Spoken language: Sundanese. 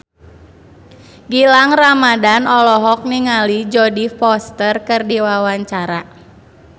Gilang Ramadan olohok ningali Jodie Foster keur diwawancara